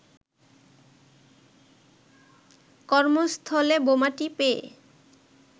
কর্মস্থলে বোমাটি পেয়ে